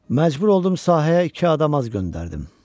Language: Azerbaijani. Məcbur oldum sahəyə iki adam az göndərdim.